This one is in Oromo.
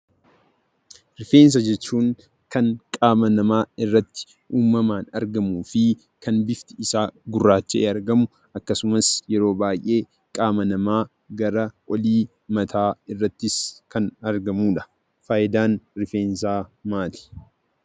Rifeensa jechuun kan qaama namaa irratti uumamaan argamuu fi kan bifti isaa gurraacha'ee argamu, akkasumas yeroo baay'ee qaama namaa gara olii mataa irrattis kan argamudha. Faayidaan rifeensaa maali?